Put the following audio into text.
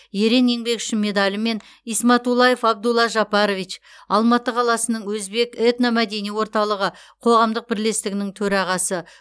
ерен еңбегі үшін медалімен исматуллаев абдулла жапарович алматы қаласының өзбек этномәдени орталығы қоғамдық бірлестігінің төрағасы